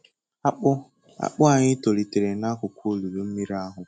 Akpụ Akpụ anyị tolitere n'akụkụ olulu mmiri ahụ.